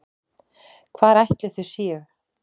Hvar ætli þau séu?